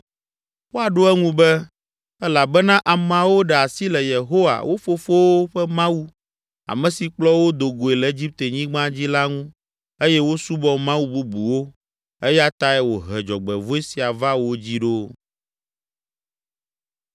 Woaɖo eŋu be, ‘Elabena ameawo ɖe asi le Yehowa, wo fofowo ƒe Mawu, ame si kplɔ wo do goe le Egiptenyigba dzi la ŋu eye wosubɔ mawu bubuwo eya tae wòhe dzɔgbevɔ̃e sia va wo dzi ɖo!’ ”